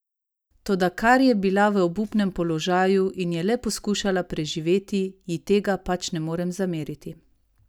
Toda ker je bila v obupnem položaju in je le poskušala preživeti, ji tega pač ne morem zameriti.